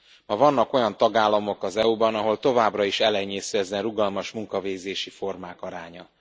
Ma vannak olyan tagállamok az EU ban, ahol továbbra is elenyésző ezen rugalmas munkavégzési formák aránya.